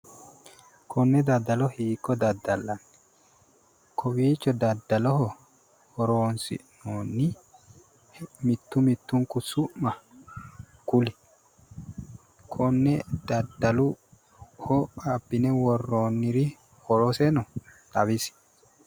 konne daddalo hiikko daddallanni konne daddaloho horonsi'noonni mittu mittunku su'ma kuli? konne daddaloho abbine worroonniri horoseno xawisi.